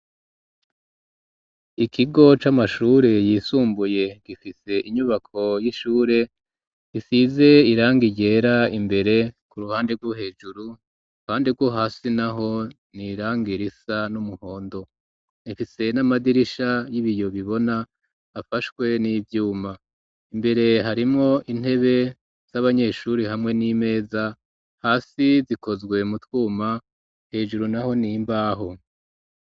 Ikigo c'amashure yisumbuye gifise inyubako y'ishure isize irangi ryera imbere ku ruhande rwo hejuru kandi uruhande rwo hasi naho n'irangi risa n'umuhondo ifise n'amadirisha y'ibiyo bibona afashwe n'ivyuma imbere harimwo intebe z'abanyeshuri hamwe n'imeza hasi zikozwe mu twuma hejuru naho n'imbaho.